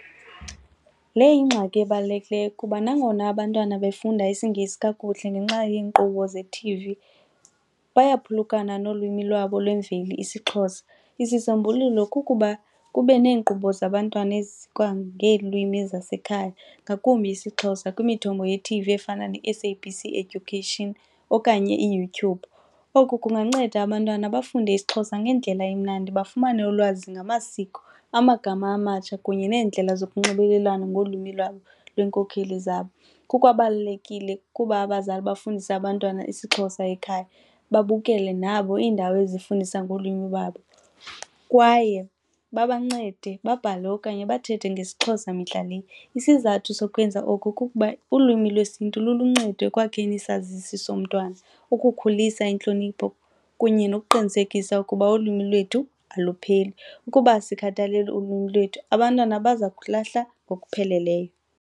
Le yingxaki ebalulekileyo kuba nangona abantwana befunda isiNgesi kakuhle ngenxa yeenkqubo zethivi bayaphulukana nolwimi lwabo lwemveli isiXhosa. Isisombululo kukuba kube neenkqubo zabantwana ezikwa ngeelwimi zasekhaya ngakumbi isiXhosa kwimithombo yethivi efana ne-S_A_B_C Education okanye iYouTube. Oko kunganceda abantwana bafunde isiXhosa ngendlela emnandi bafumane ulwazi ngamasiko, amagama amatsha kunye neendlela zokunxibelelana ngolwimi lwabo lweenkokheli zabo, kukwabalulekile ukuba abazali bafundise abantwana isiXhosa ekhaya babukele nabo iindawo ezifundisa ngolwimi lwabo kwaye babancede babhale okanye bathethe ngesiXhosa mihla le. Isizathu sokwenza oku kukuba ulwimi lwesiNtu luluncedo ekwakheni isazisi umntwana, ukukhulisa intlonipho kunye nokuqinisekisa ukuba ulwimi lwethu alupheli. Ukuba asikhathaleli ulwimi lwethu abantwana baza kulahla ngokupheleleyo.